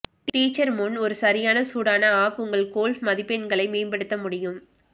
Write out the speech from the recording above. teacher முன் ஒரு சரியான சூடான அப் உங்கள் கோல்ஃப் மதிப்பெண்களை மேம்படுத்த முடியும்